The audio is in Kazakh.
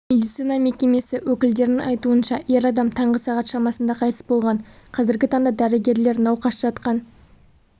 медицина мекемесі өкілдерінің айтуынша ер адам таңғы сағат шамасында қайтыс болған қазіргі таңда дәрігерлер науқас жатқан